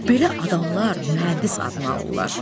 Belə adamlar mühəndis adını alırlar.